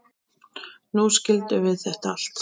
Nú skildum við þetta allt.